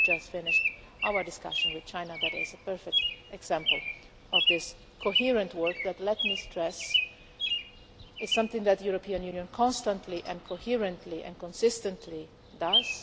We have just finished a discussion with China and that is a perfect example of this coherent work that, let me stress, is something that the European Union constantly and coherently and consistently does.